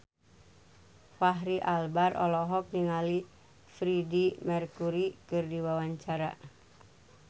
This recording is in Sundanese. Fachri Albar olohok ningali Freedie Mercury keur diwawancara